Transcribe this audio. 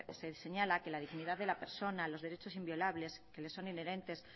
se señala que la dignidad de la persona los derechos inviolables que le son inherentes